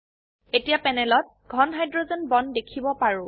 এতিয়া প্যানেলত ঘন হাইড্ৰোজেন বন্ড দেখিব পাৰো